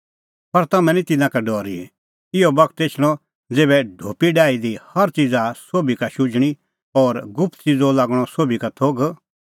पर तम्हैं निं तिन्नां का डरी इहअ बगत एछणअ ज़ेभै ढोपी डाही दी हर च़ीज़ सोभी का शुझणीं और गुप्त च़िज़ो लागणअ सोभी का थोघ